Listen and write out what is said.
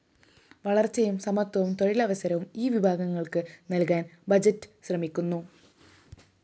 വളര്‍ച്ചയും സമത്വവും തൊഴിലവസരവും ഈ വിഭാഗങ്ങള്‍ക്ക് നല്‍കാന്‍ ബഡ്ജറ്റ്‌ ശ്രമിക്കുന്നു